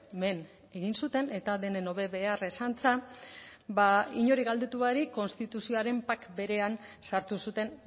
men egin zuten eta denen hobe beharrez antza inori galdetu barik konstituzioaren pack berean sartu zuten